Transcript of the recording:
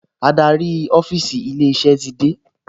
Adarí ọ́fíìsì ilé-iṣẹ́ ti dé